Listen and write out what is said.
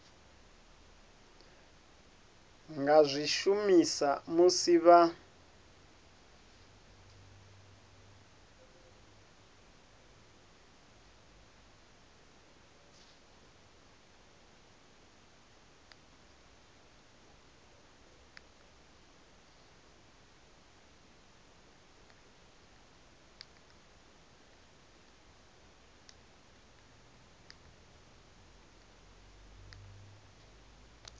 nga zwi shumisa musi vha